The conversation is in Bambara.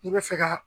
I bɛ fɛ ka